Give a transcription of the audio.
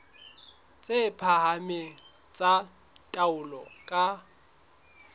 tse phahameng tsa taolo ka